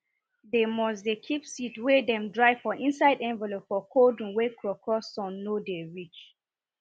dem must dey keep seed wey dem dry for inside envelope for cold room wey krokro sun nor dey reach